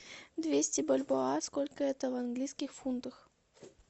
двести бальбоа сколько это в английских фунтах